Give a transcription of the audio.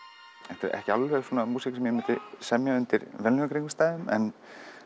þetta er ekki alveg svona músík sem ég myndi semja undir venjulegum kringumstæðum en